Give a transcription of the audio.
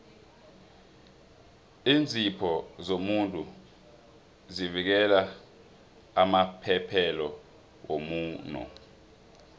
iinzipho zomuntu zivikela amaphethelo womuno